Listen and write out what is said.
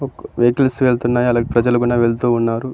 Vehicles వెళ్తున్నాయి అలాగే ప్రజలు కూడా వెళ్తున్నారు.